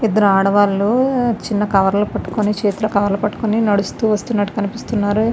ఇద్దరు ఆడవాళ్లు చిన్న కవర్ లు పెట్టుకొని చేతిలో కవర్ లు పట్టుకొని నడుస్తూ వస్తున్నట్టు కనిపిస్తున్నారు.